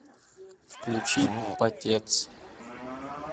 включи потец